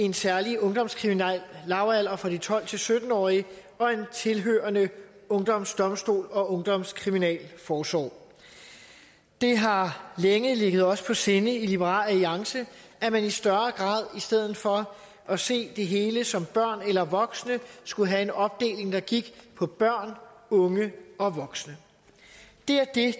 en særlig ungdomskriminel lavalder for de tolv til sytten årige og en tilhørende ungdomsdomstol og ungdomskriminalforsorg det har længe ligget os på sinde i liberal alliance at man i større grad i stedet for at se det hele som børn eller voksne skulle have en opdeling der gik på børn unge og voksne